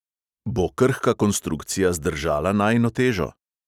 Bo krhka konstrukcija zdržala najino težo?